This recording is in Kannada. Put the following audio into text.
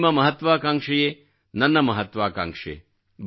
ನಿಮ್ಮ ಮಹತ್ವಾಕಾಂಕ್ಷೆಯೇ ನನ್ನ ಮಹತ್ವಾಕಾಂಕ್ಷೆ